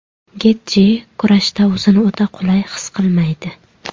Getji kurashda o‘zini o‘ta qulay his qilmaydi.